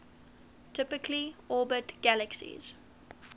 typically orbit galaxies